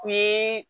U ye